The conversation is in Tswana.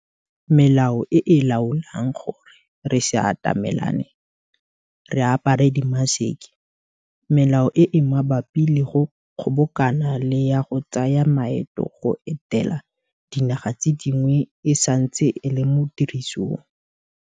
Melao e e laolang gore re se atamelane, re apare dimaseke, melao e e mabapi le go kgobokana le ya go tsaya maeto go etela dinaga tse dingwe e santse e le mo tirisong.